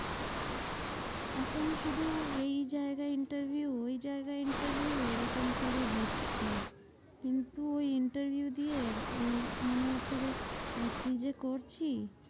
এখন শুধু এই জায়গায় interview ওই জায়গায় interview এরকম করে দিচ্ছি। কিন্তু ওই interview দিয়ে উম মনে হচ্ছে যে আহ কি যে করছি?